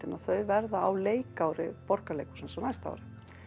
að þau verða á leikári Borgarleikhússins á næsta ári